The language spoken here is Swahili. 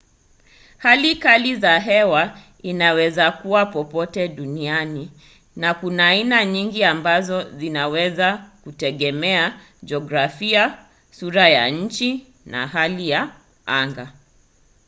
hali kali ya hewa inawezakuwa popote duniani na kuna aina nyingi ambazo zinaweza kutegemea jiografia sura ya nchi na hali ya anga